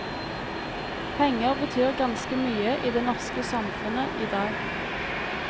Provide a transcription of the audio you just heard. Penger betyr ganske mye i det norske samfunnet i dag.